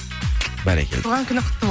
бәрекелді туған күні құтты